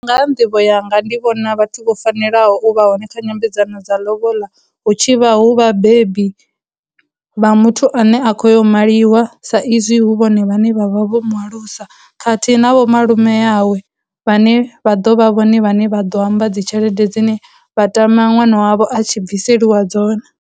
Ngaha nḓivho yanga ndi vhona vhathu vho fanelaho u vha hone kha nyambedzano dza lobola hu tshi vha hu vhabebi vha muthu ane a khou ya u maliwa sa izwi hu vhone vha ne vha vha vho mu alusa, khathihi na vho malume yawe vhane vha ḓo vha vhone vhane vha ḓo amba dzi tshelede dzine vha tama ṅwana wavho a tshi bviselwa dzone.